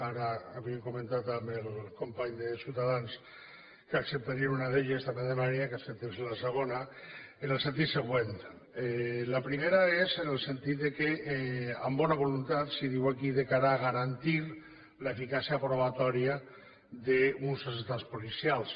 ara havíem comentat amb el company de ciutadans que n’acceptarien una d’elles també demanaria que acceptessin la segona en el sentit següent la primera és en el sentit que amb bona voluntat es diu aquí de cara a garantir l’eficàcia probatòria d’uns atestats policials